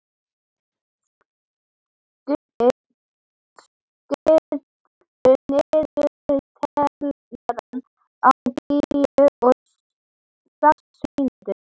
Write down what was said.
Skuggi, stilltu niðurteljara á tuttugu og sex mínútur.